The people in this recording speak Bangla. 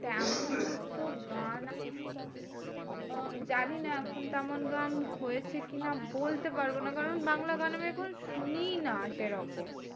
তেমন তো গান জানিনা এখন তেমন গান হয়েছে কি না? বলতে পারবো না। কারণ বাংলা গান আমি এখন শুনিই না সেরকম।